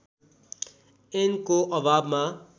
ऐनको अभावमा